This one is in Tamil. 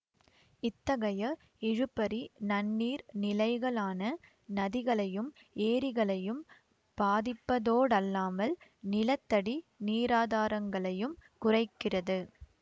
இத்தகைய இழுபறி நன்னீர் நிலைகளான நதிகளையும் ஏரிகளையும் பாதிப்பதோடல்லாமல் நிலத்தடி நீராதாரங்களையும் குறைக்கிறது